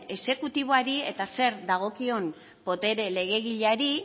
exekutiboari eta zer dagoen botere legegileari